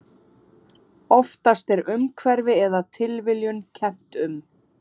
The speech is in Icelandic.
Oftast er umhverfi eða tilviljun kennt um.